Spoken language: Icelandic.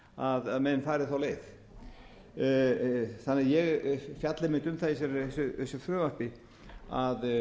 því að menn fari þá leið ég fjalla einmitt um það í þessu frumvarpi að